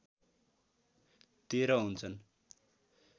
१३ हुन्छन्